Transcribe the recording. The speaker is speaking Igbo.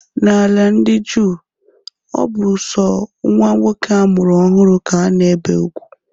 N'ala ndi juu, ọ bụ sọ nwa nwoke amụrụ ọhụrụ ka a na-ebe ugwu